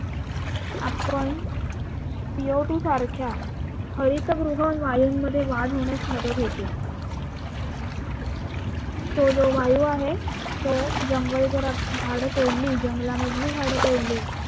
आपण Co two सारख्या हरितगृह वायूंमध्ये वाढ होण्यास मदत होते. तो जो वायू आहे तो जंगल जर झाडं तोडली, जंगला मधली झाडं तोडली